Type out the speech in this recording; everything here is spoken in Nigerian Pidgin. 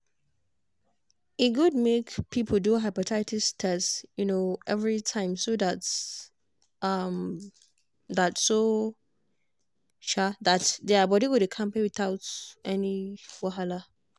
e good make people do hepatitis test um every time so um that so um that their body go dey kampe without any wahala.